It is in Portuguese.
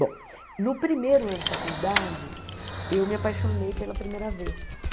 Bom, no primeiro ano de faculdade, eu me apaixonei pela primeira vez.